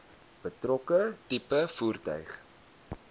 betrokke tipe voertuig